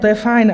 To je fajn.